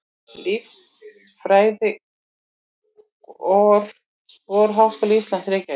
Líffræðiskor Háskóla Íslands, Reykjavík.